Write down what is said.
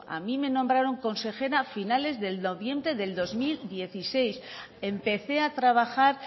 a mí me nombraron consejera a finales de noviembre de dos mil dieciséis empecé a trabajar